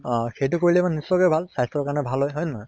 আহ সেইটো কৰিলে মানে নিশ্চয় কৈ ভাল, স্বাস্থ্য়ৰ কাৰণে ভাল হয়, হয় নে নহয়?